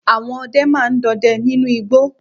Àwọn ọdẹ ma ń dọdẹ nínú igbó.